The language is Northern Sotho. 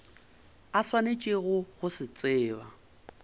a swanetšego go se tseba